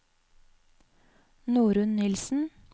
Norunn Nilssen